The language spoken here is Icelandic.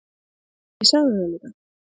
Ég sagði það líka.